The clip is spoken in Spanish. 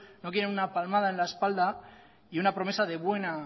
no quieren una palmada en la espalda y una promesa de buena